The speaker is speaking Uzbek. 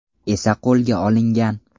esa qo‘lga olingan.